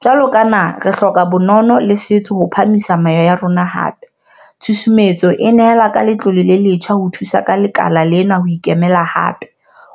Jwalo ka naha, re hloka bonono le setso ho phahamisa meya ya rona hape - tshusumetso e nehela ka letlole le letjha ho thusa lekala lena ho ikemela hape,